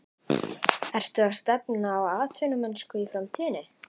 Ertu að stefna á atvinnumennsku í framtíðinni?